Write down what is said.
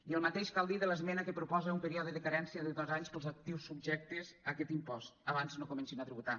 i el mateix cal dir de l’esmena que proposa un període de carència de dos anys per als actius subjectes a aquest impost abans no comencin a tributar